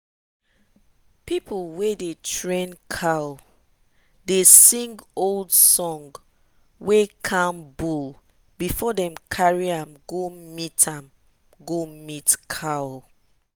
people wey dey train cow dey sing old song wey calm bull before dem carry am go meet am go meet cow.